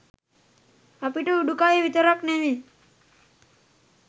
අපිට උඩුකය විතරක් නෙවි